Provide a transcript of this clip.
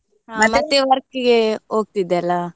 work ಇಗೆ ಹೊಗ್ತಿದ್ದೆ ಅಲ್ಲ.